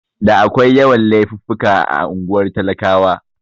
Da akwai yawan Laifuffuka a unguwar talakawa